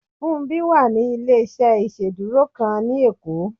Fúnmbí wà ní ilé-iṣẹ́ ìsedúró kan ni ekó